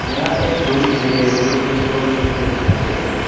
यह एक रूम दिखाई दे रहा है जो कि स्टोर रूम जैसा दिखाई दे रहा है।